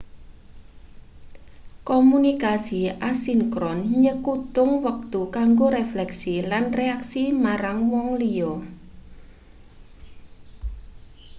komunikasi asinkron nyengkutung wektu kanggo refleksi lan reaksi marang wong liya